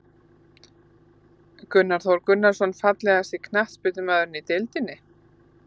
Gunnar Þór Gunnarsson Fallegasti knattspyrnumaðurinn í deildinni?